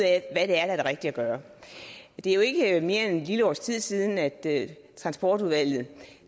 er der er det rigtige at gøre det er jo ikke mere end et lille års tid siden at transportudvalget